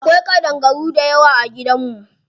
Akwai ƙadangaru dayawa a gidan mu.